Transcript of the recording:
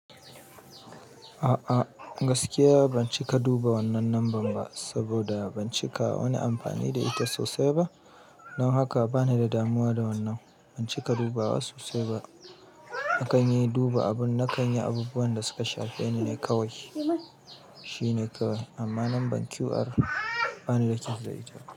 A'a gaskiya, ban cika duba wannan lambar ba saboda ban cika wani amfani da ita sosai ba. Don haka bani da damuwa da wannan. Ban cika dubawa sosai ba. Na kan yi duba abun, na kan yi abubuwan da suka shafi ni ne kawai. Shi ne kawai amma lambar QR ban littafi da ita ba.